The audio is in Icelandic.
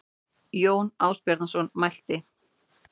Jón Ásbjarnarson mælti